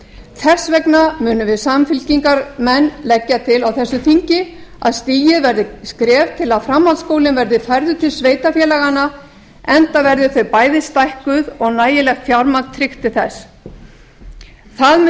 þess vegna munum við samfylkingarmenn leggja til á þessu þingi að stigið verði skref til að framhaldsskólinn verði færður til sveitarfélaganna enda verði þau bæði stækkuð og nægilegt fjármagn tryggt til þess það mun